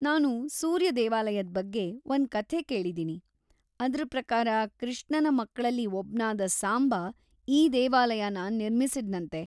ನಾನು ಸೂರ್ಯ ದೇವಾಲಯದ್ ಬಗ್ಗೆ ಒಂದ್ ಕಥೆ ಕೇಳಿದೀನಿ, ಅದ್ರ್ ಪ್ರಕಾರ ಕೃಷ್ಣನ ಮಕ್ಳಲ್ಲಿ ಒಬ್ನಾದ ಸಾಂಬ ಈ ದೇವಾಲಯನ ನಿರ್ಮಿಸಿದ್ನಂತೆ.